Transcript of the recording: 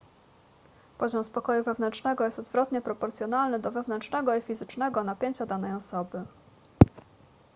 poziom spokoju wewnętrznego jest odwrotnie proporcjonalny do wewnętrznego i fizycznego napięcia danej osoby